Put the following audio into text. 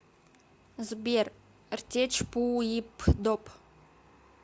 сбер ртечпуипдоп